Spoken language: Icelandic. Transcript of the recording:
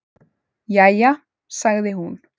"""Jæja, sagði hún."""